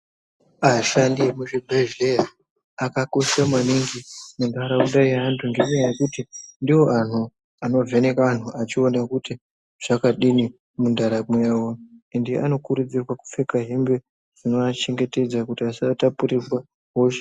Ashandi emuzvibhedhleya akakoshe maningi muntaramo yeantu ngenyaya yekuti ndoantu anovheneka antu achiona kuti zvakadini muntaramo yavo ,ende vanokurudzirwa kupfeka hembe dzinovachengetedza kuti vasatapurirwa hosha.